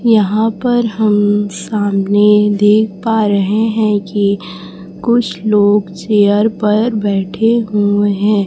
यहां पर हम सामने देख पा रहे हैं कि कुछ लोग चेयर पर बैठे हुए हैं।